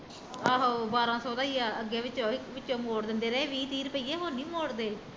ਆਹੋ ਬਾਰਾ ਸੋ ਦਾ ਈ ਆ ਅੱਗੇ ਵੀ ਵਿੱਚੋਂ ਮੋੜ ਦਿੰਦੇ ਰਹੇ ਵੀਹ ਤੀਹ ਰੁਪਈਏ ਹੁਣ ਨੀ ਮੋੜਦੇ